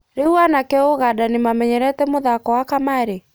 Rĩũ anake Ũganda nĩmamenyerete mũthako wa kamarĩ?